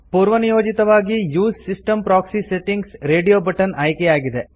ಪೂರ್ವನಿಯೋಜಿತವಾಗಿ use system proxy settings radio button ಆಯ್ಕೆಯಾಗಿದೆ